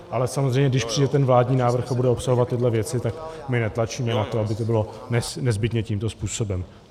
Ale samozřejmě, když přijde ten vládní návrh a bude obsahovat tyhle věci, tak my netlačíme na to, aby to bylo nezbytně tímto způsobem.